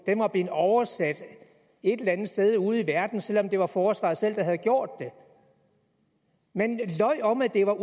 var blevet oversat et eller andet sted ude i verden selv om det var forsvaret selv der havde gjort det man løj om at det var